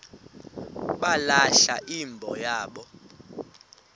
balahla imbo yabo